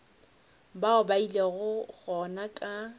bao ba ilego gona ka